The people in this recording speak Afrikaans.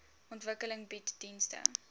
ontwikkeling bied dienste